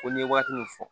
Ko n ye waati min fɔ